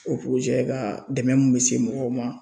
O ka dɛmɛ mun be se mɔgɔw ma